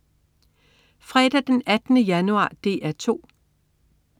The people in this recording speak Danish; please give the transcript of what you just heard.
Fredag den 18. januar - DR 2: